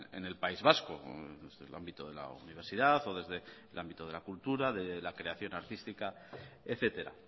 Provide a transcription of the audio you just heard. en el país vasco desde el ámbito de la universidad o desde el ámbito de la cultura de la creación artística etcétera